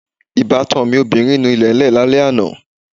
Ìbátan mi obìnrin nu ilẹ̀lẹ́ẹ̀ lálẹ́ àná